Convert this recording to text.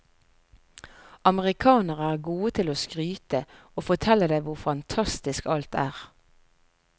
Amerikanere er gode til å skryte og fortelle deg hvor fantastisk alt er.